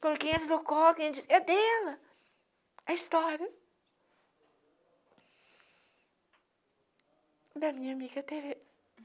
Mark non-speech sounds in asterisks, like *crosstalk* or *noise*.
Porque isso *unintelligible* é dela, a história da minha amiga Tereza.